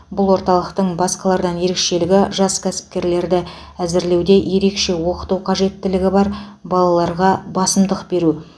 бұл орталықтың басқалардан ерекшелігі жас кәсіпкерлерді әзірлеуде ерекше оқыту қажеттілігі бар балаларға басымдық беру